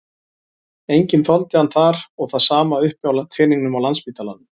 Enginn þoldi hann þar og það er sama uppi á teningnum á Landspítalanum.